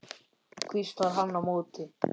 hvíslar hann á móti.